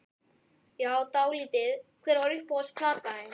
Já dálítið Hver er uppáhalds platan þín?